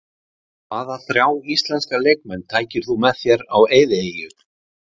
Hvaða þrjá íslenska leikmenn tækir þú með þér á eyðieyju?